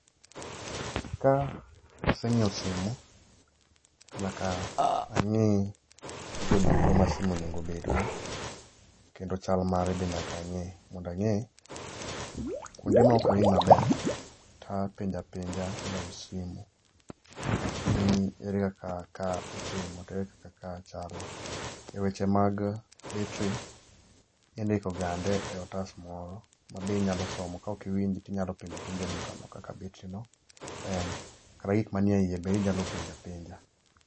Ka asenyiewo simu, nyaka angé gigo duto ma simu onego obed go, kendo chal mare be nyaka angé, mondo angé kuonde ma ok awinj maber, ta penja penja ja us simu, ni ere kaka ka itimo, to ere kaka ka chalo. E weche mag battery indikogande e otas moro, ma be inyalo somo ka ok iwinji to inyalo penjo apenja e dukano ka batteryno en. Kata gik mani e ie, bende inyalo penjo apenja.